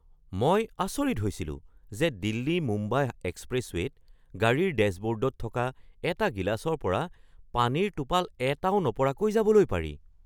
মই আচৰিত হৈছিলো যে দিল্লী-মুম্বাই এক্সপ্ৰেছৱে'ত গাড়ীৰ ডেশ্ববৰ্ডত থকা এটা গিলাচৰ পৰা পানীৰ টোপাল এটাও নপৰাকৈ যাবলৈ পাৰি।